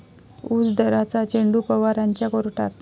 ऊस दराचा चेंडू पवारांच्या कोर्टात!